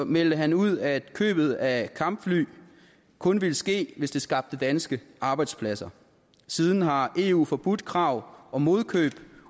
meldte han ud at købet af kampfly kun ville ske hvis det skabte danske arbejdspladser siden har eu forbudt krav om modkøb